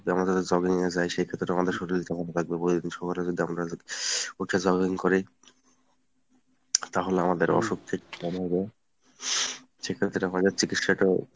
আমাদের যে jogging এ যাই সেক্ষেত্রে আমাদের শরিল যেমন থাকবে প্রতিদিন সকালে যদি আমরা উঠে jogging করি তাহলে আমাদের অসুখ কম হবে সেক্ষেত্রে আমাদের চিকিৎসাটাও।